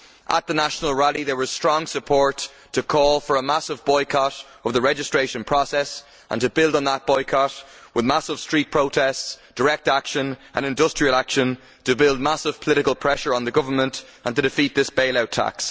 At the national rally, there was strong support to call for a massive boycott of the registration process and to build on that boycott with massive street protests, direct action and industrial action to put massive political pressure on the government and to defeat this bail out tax.